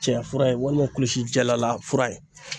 Cɛya fura ye walima kulusi jalala fura ye.